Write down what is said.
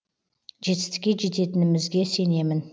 жетістікке жететінімізге сенемін